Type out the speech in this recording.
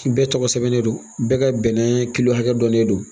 Bɛɛ tɔgɔ sɛbɛnnen don bɛɛ ka bɛnɛ kilo hakɛ dɔ de don